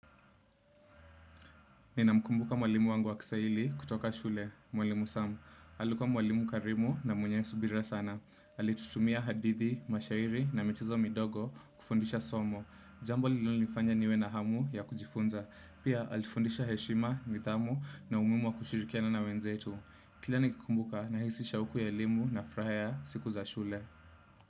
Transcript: Nina mkumbuka mwalimu wangu wa kiswahili kutoka shule, mwalimu sam. Alikuwa mwalimu karimu na mwenye subira sana. Alitutumia hadithi, mashairi na michezo midogo kufundisha somo. Jambo lililonifanya niwe na hamu ya kujifunza. Pia alifundisha heshima, nidhamu na umuhimu wa kushirikiana na wenzetu. Kila nikikumbuka nahisi shauku ya elimu na furaha ya siku za shule.